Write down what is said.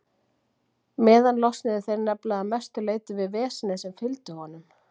meðan losnuðu þeir nefnilega að mestu leyti við vesenið sem fylgdi honum.